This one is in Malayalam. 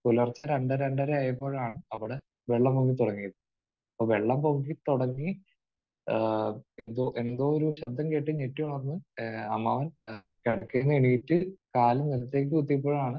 പുലർച്ചെ രണ്ട് രണ്ടര ആയപ്പോഴാണ് അവിടെ വെള്ളം പൊങ്ങി തുടങ്ങിയത്. അപ്പോൾ വെള്ളം പൊങ്ങിത്തുടങ്ങി ഏഹ് എന്തോ ഒരു ശബ്ദം കേട്ട് ഞെട്ടിയുണർന്ന് ഏഹ് അമ്മാവൻ എഹ് കിടക്കയിൽ നിന്ന് എഴുന്നേറ്റ് കാൽ നിലത്തേക്ക് കുത്തിയപ്പോഴാണ്